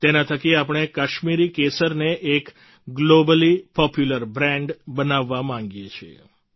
તેના થકી આપણે કાશ્મીરી કેસરને એક ગ્લોબલી પોપ્યુલર બ્રાન્ડ બનાવવા માગીએ છીએ